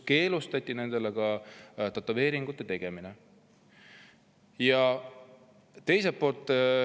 Keelustati ka nendele tätoveeringu tegemine.